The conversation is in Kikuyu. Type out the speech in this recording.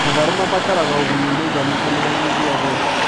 Matharũ mabataraga ũgunyu mũiganu kimera gĩ gĩothe